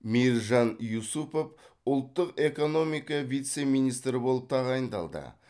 мейіржан юсупов ұлттық экономика вице министрі болып тағайындалды